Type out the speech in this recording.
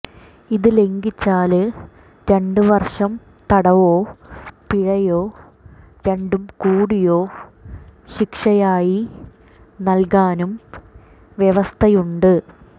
ഇത് ലംഘിച്ചാല് രണ്ട് വര്ഷം തടവോ പിഴയോ രണ്ടും കൂടിയോ ശിക്ഷയായി നല്കാനും വ്യവസ്ഥയുണ്ട്